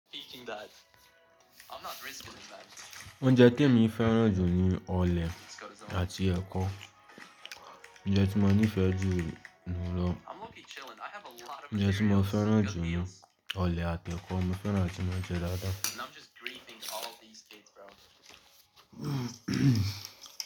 Oúnjẹ tí emi fẹ́ràn jù ní ọ̀lẹ àti ẹ̀kọ. Oúnjẹ tí mo nífẹ̀ẹ́ jù ni irọ̀. Oúnjẹ tí mo fẹ́ràn jù ní ọ̀lẹ àti ẹ̀kọ. Mo fẹ́ràn áti máa jẹ da da.